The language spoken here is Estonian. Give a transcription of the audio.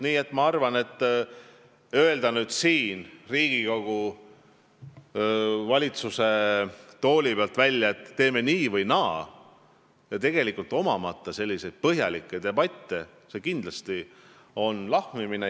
Nii et ma arvan, et see, kui nüüd öelda siit Riigikogu valitsuse tooli pealt välja, et teeme nii või naa, ilma et meil tegelikult oleks põhjalikke debatte olnud, oleks lahmimine.